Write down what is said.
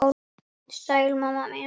Sæl mamma mín.